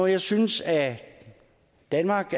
jeg synes at danmark